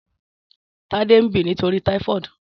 Tade n bì nitóri tàífọ̀dí